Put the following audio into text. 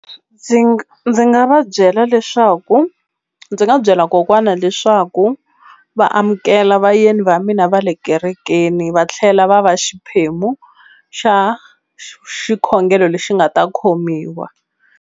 Ndzi ndzi nga va byela leswaku ndzi nga byela kokwana leswaku va amukela vayeni va mina va le kerekeni va tlhela va va xiphemu xa xikhongelo lexi nga ta khomiwa.